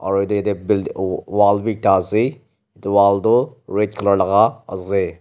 aro yate yate builde wall bhi ekta asey wall toh red colour laga asey.